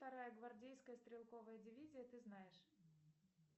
вторая гвардейская стрелковая дивизия ты знаешь